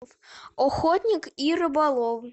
охотник и рыболов